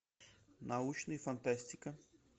научная фантастика